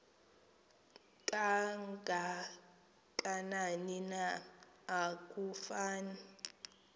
kangakanani na akufani